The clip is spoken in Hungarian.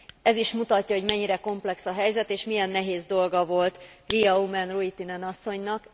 Ez is mutatja, hogy mennyire komplex a helyzet, és milyen nehéz dolga volt Ria Oomen Ruiten asszonynak.